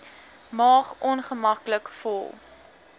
maag ongemaklik vol